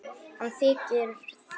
Hann þiggur það.